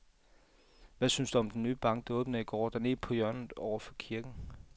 Hvad synes du om den nye bank, der åbnede i går dernede på hjørnet over for kirken?